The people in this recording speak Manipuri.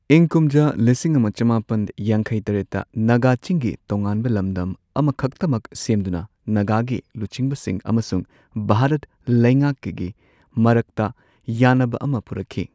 ꯏꯪ ꯀꯨꯝꯖꯥ ꯂꯤꯁꯤꯡ ꯑꯃ ꯆꯃꯥꯄꯟ ꯌꯥꯡꯈꯩ ꯇꯔꯦꯠꯇ, ꯅꯥꯒꯥ ꯆꯤꯡꯒꯤ ꯇꯣꯉꯥꯟꯕ ꯂꯝꯗꯝ ꯑꯃꯈꯛꯇꯃꯛ ꯁꯦꯝꯗꯨꯅ ꯅꯥꯒꯥꯒꯤ ꯂꯨꯆꯤꯡꯕꯁꯤꯡ ꯑꯃꯁꯨꯡ ꯚꯥꯔꯠ ꯂꯩꯉꯥꯛꯀꯒꯤ ꯃꯔꯛꯇ ꯌꯥꯅꯕ ꯑꯃ ꯄꯨꯔꯛꯈꯤ꯫